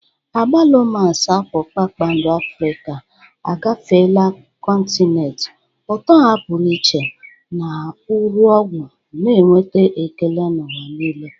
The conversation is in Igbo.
Agbalumas, apụl kpakpando Afrịka, agafeela kọntinent, ụtọ ha pụrụ iche na uru ọgwụ na-enweta ekele n'ụwa niile.